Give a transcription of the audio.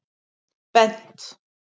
Bent